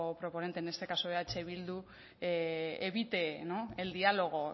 proponente en este caso eh bildu evite no el diálogo